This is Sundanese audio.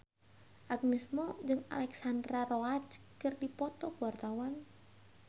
Agnes Mo jeung Alexandra Roach keur dipoto ku wartawan